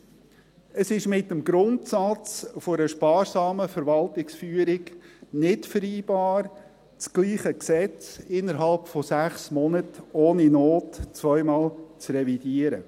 Drittens: Es ist mit dem Grundsatz einer sparsamen Verwaltungsführung vereinbar, dasselbe Gesetz innerhalb von sechs Monaten ohne Not zweimal zu revidieren.